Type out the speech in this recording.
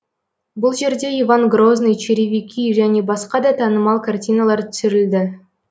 бұл жерде иван грозный черевики және басқа да танымал картиналар түсірілді